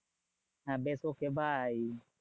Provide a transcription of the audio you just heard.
হ্যাঁ বেশ okay bye.